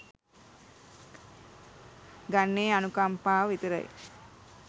ගන්නේ අනුකම්පාව විතරයි.